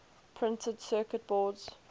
printed circuit boards